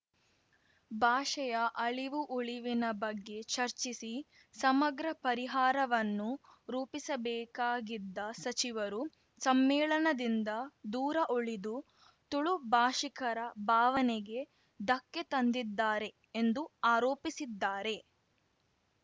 ಭಾಷೆಯ ಅಳಿವು ಉಳಿವಿನ ಬಗ್ಗೆ ಚರ್ಚಿಸಿ ಸಮಗ್ರ ಪರಿಹಾರವನ್ನು ರೂಪಿಸಬೇಕಾಗಿದ್ದ ಸಚಿವರು ಸಮ್ಮೇಳನದಿಂದ ದೂರ ಉಳಿದು ತುಳು ಭಾಷಿಕರ ಭಾವನೆಗೆ ಧಕ್ಕೆ ತಂದಿದ್ದಾರೆ ಎಂದು ಆರೋಪಿಸಿದ್ದಾರೆ